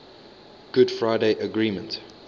good friday agreement